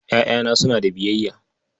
Ƴaƴana suna da biyayya.